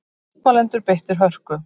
Mótmælendur beittir hörku